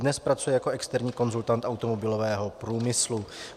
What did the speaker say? Dnes pracuje jako externí konzultant automobilového průmyslu.